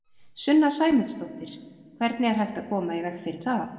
Sunna Sæmundsdóttir: Hvernig er hægt að koma í veg fyrir það?